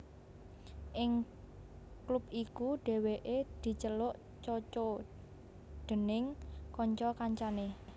Ing klub iku Dèwèké diceluk Coco déning kanca kancané